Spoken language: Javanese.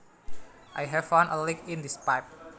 I have found a leak in this pipe